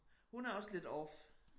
Hun er også lidt off